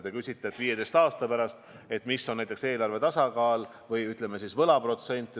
Te küsisite, milline 15 aasta pärast on näiteks eelarve tasakaal või, ütleme siis, võlaprotsent.